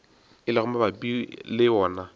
e lego mabapi le wona